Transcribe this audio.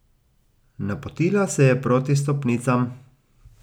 Napotila se je proti stopnicam.